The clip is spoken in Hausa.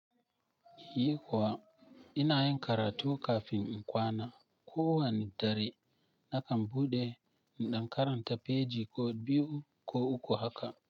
Yi kuwa ina yin karatu kafin in kwana. Ko wane dare nakan buɗe in ɗan karanta feji ko biyu ko uku haka.